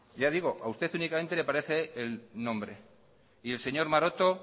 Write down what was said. ya digo a usted técnicamente le aparece el nombre y el señor maroto